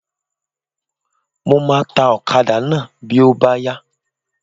Mo máa ta ọ̀kadà náà bí ó bá yá.